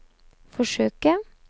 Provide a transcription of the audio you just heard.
forsøke